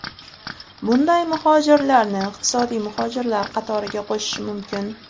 Bunday muhojirlarni iqtisodiy muhojirlar qatoriga qo‘shish mumkin.